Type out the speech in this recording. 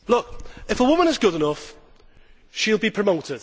If a woman is good enough, she will be promoted.